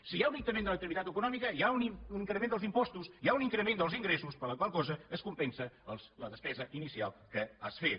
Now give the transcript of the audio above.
si hi ha un increment de l’activitat econòmica hi ha un increment dels impostos hi ha un increment dels ingressos per la qual cosa es compensa la despesa inicial que has fet